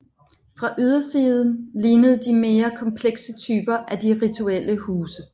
Fra ydersiden lignede de mere komplekse typer af de rituelle huse